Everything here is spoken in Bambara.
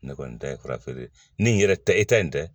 Ne kɔni ta ye farafeere ye ni n yɛrɛ ta e ta in tɛ